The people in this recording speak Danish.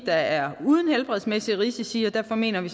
er uden helbredsmæssige risici og derfor mener vi